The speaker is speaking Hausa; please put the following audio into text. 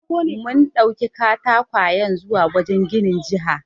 Mun ɗauki katakwayen zuwa wajen ginin jiha.